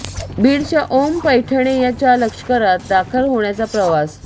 बीडच्या ओम पैठणे चा लष्करात दाखल होण्याचा प्रवास